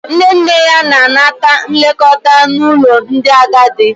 Nne nne ya na-anata nlekọta n'ụlọ ndị agadi.